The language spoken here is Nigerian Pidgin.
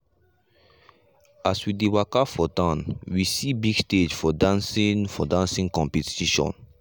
as we dey waka for town we see big stage for dancing for dancing competition.